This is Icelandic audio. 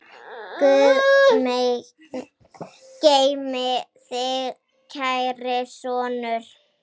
Guð geymi þig, kæri sonur.